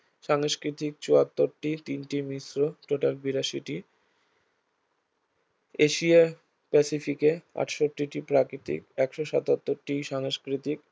সংস্কৃতিক চুয়াত্তরটি, তিনটি মিশ্র total বিরাশিটি এশিয়া প্যাসিফিকে আটষট্টিটি প্রাকৃতিক একশ সত্তাতরটি সংস্কৃতিক